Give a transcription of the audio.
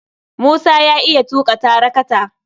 Musa ya iya tuƙa tarakata.